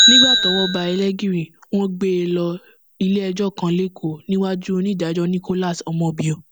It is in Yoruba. nígbà tọwọ bá ẹlẹgìrì wọn gbé e lọ iléẹjọ kan lẹkọọ níwájú onídàájọ nicholas omobio